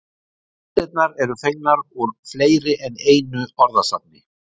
Heimildirnar eru fengnar úr fleiri en einu orðasafni.